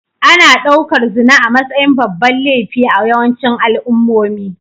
Ana ɗaukar zina a matsayin babban laifi a yawancin al'ummomi